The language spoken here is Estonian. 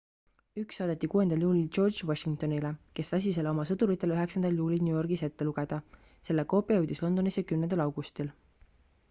üks saadeti 6 juulil george washingtonile kes lasi selle oma sõduritele 9 juulil new yorgis ette lugeda selle koopia jõudis londonisse 10 augustil